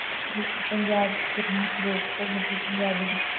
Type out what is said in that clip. ਪੰਜਾਬ ਚ ਗਰਮੀ ਤੇ ਮਤਲਬ ਪੰਜਾਬੀ